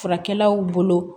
Furakɛlaw bolo